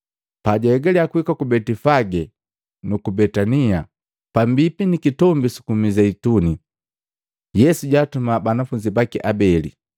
Pajaegalya kuhika ku Betifage nuku Betania, pambipi ni Kitombi suku Mizeituni, Yesu jaatuma banafunzi baki abeli,